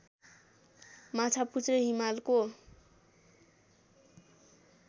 माछापुच्छ्रे हिमालको